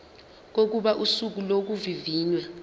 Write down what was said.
kokuba usuku lokuvivinywa